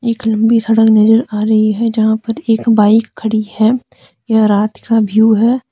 एक लंबी सड़क नजर आ रही है जहां पर एक बाइक खड़ी है यह रात का व्यू है।